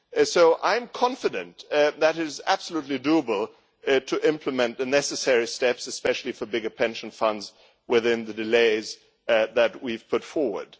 So I am confident that it is absolutely possible to implement the necessary steps, especially for bigger pension funds, within the timeframes that we have put forward.